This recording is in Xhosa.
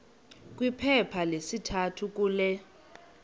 kwiphepha lesithathu kule